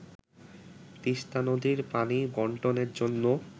তিস্তা নদীর পানি বন্টনের জন্য